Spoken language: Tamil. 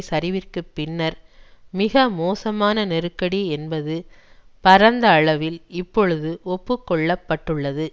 சரிவிற்குப் பின்னர் மிக மோசமான நெருக்கடி என்பது பரந்த அளவில் இப்பொழுது ஒப்பு கொள்ள பட்டுள்ளது